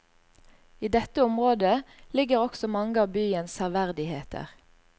I dette området ligger også mange av byens severdigheter.